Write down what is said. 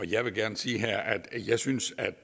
jeg vil gerne sige her at jeg synes at